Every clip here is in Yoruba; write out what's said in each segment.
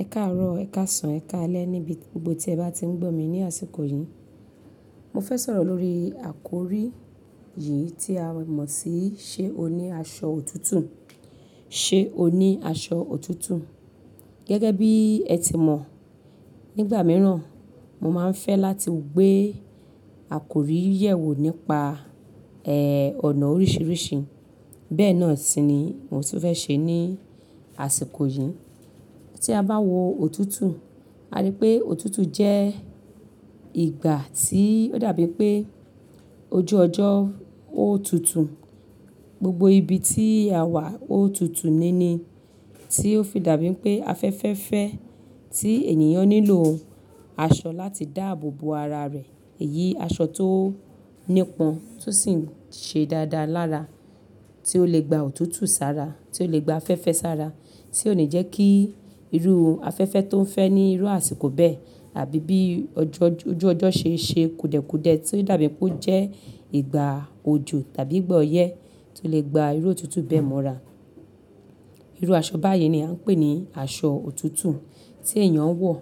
Ẹ káárọ̀, ẹ̀ káàsán, ẹ̀ káalẹ́ níbi gbo tí ẹ bá ti ń gbọ̀ mí ní àsìkò yìí- Mo fẹ́ sọ̀rọ̀ lórí àkórí- yìí tí a mọ̀ sí ṣe òní aṣọ òtútù- ṣe òní aṣọ òtútù. Gẹ́gẹ́ bí ẹ ti mọ̀ nígbà mìíràn- mo máa ń fẹ́ láti- gbé àkórí yẹ̀ wò nípa- ẹ́ẹ́, ọ̀nà oríṣiríṣi. Bẹ́ẹ̀ náà sì ni mòtún fẹ́ ṣe ní- àsìkò yìí. Tí a bá wo òtútù, a rí pé òtútù jẹ́- ìgbà tí ó dàbí pé ojú ọjọ́ ó tutù. Gbogbo ibi tí à wà ó tutù níní- tí ó fi dàbí pé afẹ́fẹ́fẹ́- tí ènìyàn nílò- aṣọ láti dáàbò bo ara rẹ̀. Èyí aṣọ tó- nípọn tó sì ń ṣe dáadáa lára, tí ó lè gba òtútù sára, tí ó lè gba afẹ́fẹ́ sára, tí ó ni jẹ́ kí irú afẹ́fẹ́ tó ń fẹ́ ní irú àsìkò bẹ́ẹ̀ àbí bí ojo jo oju ọjọ́ ṣe ń ṣe kudẹ́kudẹ́ tí ó'dàbí pe'ó jẹ́ ìgbà òjò tàbí ìgbà ọyẹ́ tó lè gba irú òtútù bẹ́ẹ̀ mọ́ra. Irú aṣọ báyìí ni a ń pè ní aṣọ òtútù tí èyàn wọ̀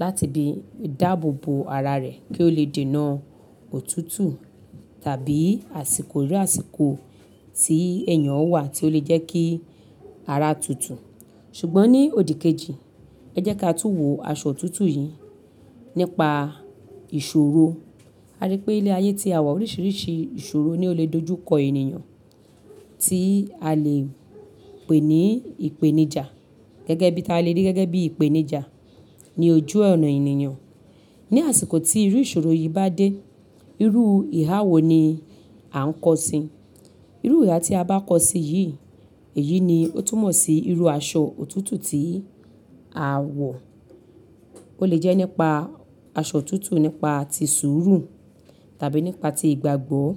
láti bí- dáàbò bo ara rẹ̀ kí ó lè dènà- òtútù- tàbí àsìkò irú àsìkò tí ènìyàn wà tí ó lè jẹ́ kí ara tutù. Ṣùgbọ́n ní òdìkejì- ẹ jẹ́ káà tú wo aṣọ òtútù yìí- nípa ìṣòro. Aripé ní ilẹ̀ ayé tí à wà oríṣiríṣi ìṣòro ni ó lè dojú kọ ènìyàn- tí- a- lè- pè ní ìpèníjà. Gẹ́gẹ́ bí ta lè rí, gẹ́gẹ́ bí ìpèníjà ní ojú ọ̀nà ènìyàn. Ní àsìkò tí irú ìṣòro yìí bá dé- irú- ìhà wo ni- a ń kọ̀ sí? Irú ìhà tí a bá kọ̀ sí yìí- èyí ni ó tún mọ̀ sí irú aṣọ òtútù tí- a- wọ̀. Ó lè jẹ́ nípa- aṣọ òtútù nípa ti sùúrù- tàbí nípa ti ìgbàgbọ́-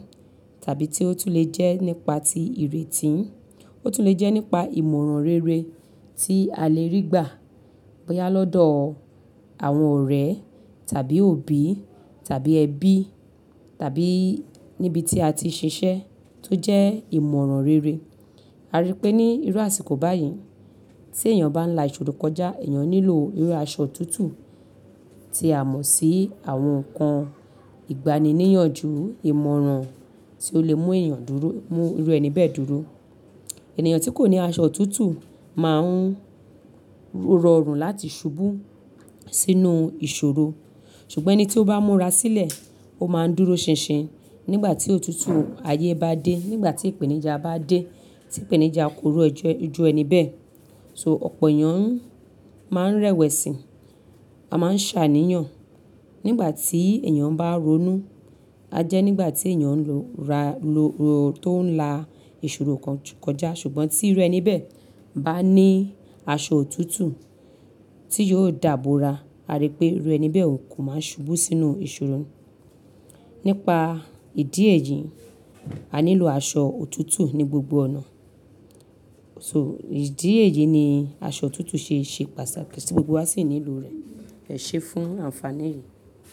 tàbí tí ó tún lè jẹ́ nípa ti ìrètí- ó tún lè jẹ́ nípa ìmọ̀ràn rere- tí a lè rí gbà bóyá lọ́dọ̀- àwọn ọ̀rẹ́- tàbí òbí- tàbí ẹbí- tàbí -níbi tí a ti ṣiṣẹ́- tó jẹ́ ìmọ̀ràn rere. Aripé ní irú àsìkò báyìí- tí ènìyàn bá ń la ìṣòro kọjá, ènìyàn nílò irú aṣọ òtútù- tí a mọ̀ sí- àwọn nkan- ìgbani níyànjú, ìmọ̀ràn tí ó lè mú ènìyàn dúró, mú irú ẹni bẹ́ẹ̀ dúró. Ẹ̀nìyàn tí kò ní aṣọ òtútù- máa ń -rọrùn láti ṣubú- sínú- ìṣòro. Ṣùgbọ́n ẹni tí ó bá múra sílẹ̀- ó máa ń dúró ṣinṣin nígbà tí òtútù- ayé bá dé, nígbà tí ìpèníjà bá dé, tí ìpèníjà korújo ojú ẹni bẹ́ẹ̀. So ọ̀pọ̀ ènìyàn- máa ń rẹ̀wẹ̀sì- -a máa ń ṣàníyàn. Nígbà tí ènìyàn bá ronú- a jẹ́ nígbà tí ènìyàn n ro ra lọ-- ro tó ń la- ìṣòro koj kọjá. Ṣùgbọ́n tí irú ẹni bẹ́ẹ̀- bá ní aṣọ òtútù- tí yóò dàbóra a rí pé irú ẹni bẹ́ẹ̀ ò kí máa n ṣubú sínú ìṣòro. Nípa- ìdí èyí-- a nílò aṣọ òtútù ní gbogbo ọ̀nà. So ìdí èyí ni aṣọ òtútù ṣe é ṣe pàṣà, kí si gbogbo wa sì nílò rẹ̀, ese fún àǹfààní yìí.